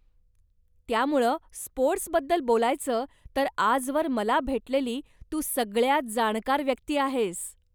त्यामुळं स्पोर्टस् बद्दल बोलायचं तर आजवर मला भेटलेली तू सगळ्यांत जाणकार व्यक्ती आहेस.